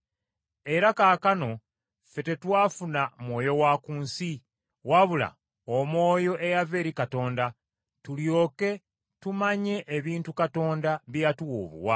Era kaakano ffe tetwafuna mwoyo wa ku nsi, wabula Omwoyo eyava eri Katonda, tulyoke tumanye ebintu Katonda bye yatuwa obuwa,